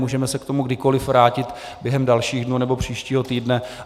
Můžeme se k tomu kdykoli vrátit během dalších dnů nebo příštího týdne.